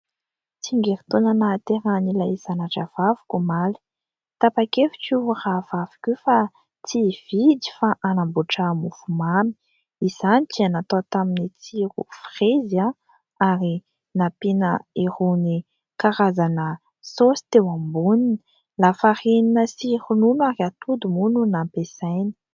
Tsingerin-taona nahaterahan' ilay zana-drahavaviko omaly. Tapak' hevitra io rahavaviko io fa tsy hividy fa hanamboatra mofo mamy, izany ka natao taminy tsiro firezy ary nampiana irony karazana saosy teo amboniny, lafarinina sy ronono ary atody moa no nampiasaina.